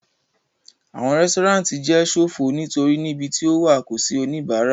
Awọn resturant jẹ sofo nitori nibẹ ni o wa ko si onibara